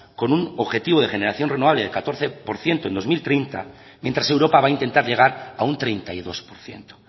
con un objetivo de generación renovable del catorce por ciento en dos mil treinta mientras europa va a intentar llegar a un treinta y dos por ciento